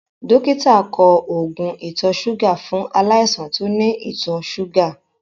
Dọ́kítà kọ oògùn ìtọ̀-súgà fún aláìsàn tó ní ìtọ̀-súgà.